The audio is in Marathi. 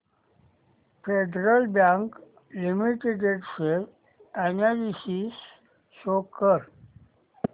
federal bank limited share analysis show कर